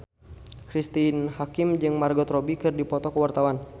Cristine Hakim jeung Margot Robbie keur dipoto ku wartawan